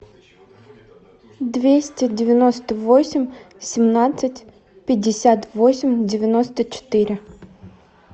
двести девяносто восемь семнадцать пятьдесят восемь девяносто четыре